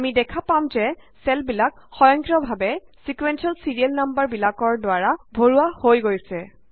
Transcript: আমি দেখা পাম যে চেলবিলাক সয়ংক্ৰিয় ভাৱে ছিকুৱেন্সিয়েল ছিৰিয়েল নাম্বাৰবিলাকৰ দ্বাৰা ভৰোৱা হৈ গৈছে